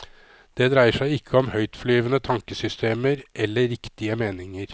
Det dreier seg ikke om høytflyvende tankesystemer eller riktige meninger.